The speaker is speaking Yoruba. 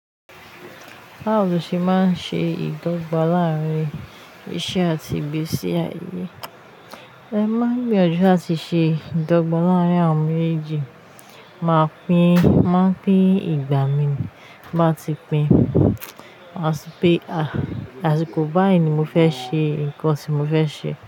Báwo ni o ṣe máa ń ṣe ìdọ́gba láàárín iṣẹ́ àti ìgbésí ayé? Ẹhn mo máa n gbiyanju láti ṣe ìdọ́gba láàárín àwọn méjèèjì. Máa pín, mo máa n pín ìgbà mi. Bí mo bá ti pín, máa sọ pé, "Àsìkò báyìí ni mo fẹ́ ṣe ǹkan tí mo fẹ́ ṣe."